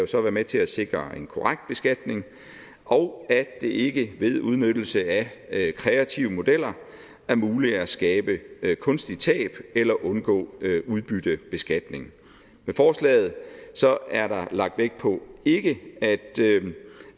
så være med til at sikre en korrekt beskatning og at det ikke ved udnyttelse af kreative modeller er muligt at skabe kunstige tab eller undgå udbyttebeskatning med forslaget er der lagt vægt på ikke at